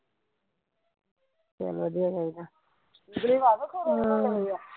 ਚੱਲ ਵਧੀਆ ਚਾਹੀਦਾ ਹਮ